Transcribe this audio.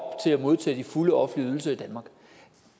til at modtage de fulde offentlige ydelser i danmark